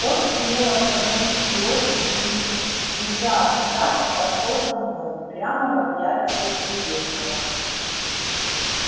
он смело шагнул вперёд и визжа от страха пошёл ко дну прямо в объятия неизвестного